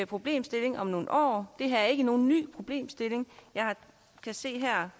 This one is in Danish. problemstilling om nogle år det her er ikke nogen ny problemstilling jeg kan se her